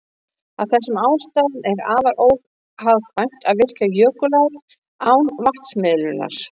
Af þessum ástæðum er afar óhagkvæmt að virkja jökulár án vatnsmiðlunar.